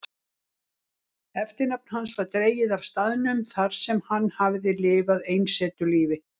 Eftirnafn hans var dregið af staðnum þarsem hann hafði lifað einsetulífi.